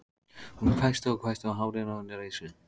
Hún hvæsti og hvæsti og hárin á henni risu.